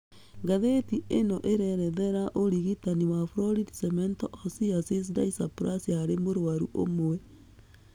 Ngathĩti ĩno ĩrerethera ũrigitani wa florid cemento osseous dysplasia harĩ mũrwaru ũmwe